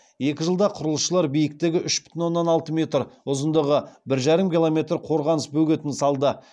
екі жылда құрылысшылар биіктігі үш бүтін оннан алты метр ұзындығы бір жарым километр қорғаныс бөгетін салды